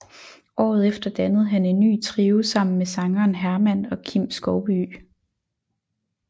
Året efter dannede han en ny trio sammen med sangeren Herman og Kim Skovbye